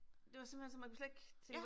Det var simpelthen så man kunne slet ikke tænke